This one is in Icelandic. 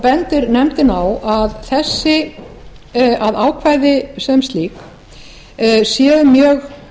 bendir nefndin á að ákvæðin sem slík séu mjög